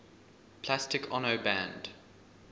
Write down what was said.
plastic ono band